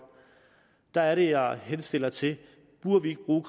der er det at jeg henstiller til at vi nu